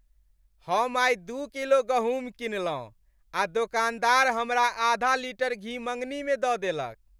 हम आइ दू किलो गहूम किनलहुँ आ दोकानदार हमरा आधा लीटर घी मङ्गनीमे दऽ देलक।